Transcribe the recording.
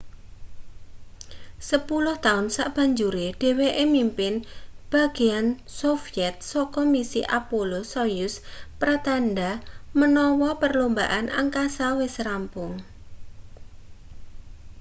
sepuluh taun sabanjure dheweke mimpin bagean sovyet saka misi apollo-soyuz pratandha menawa perlombaan angkasa wis rampung